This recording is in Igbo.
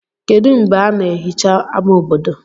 kedu mgbe a na-ehicha ama obodo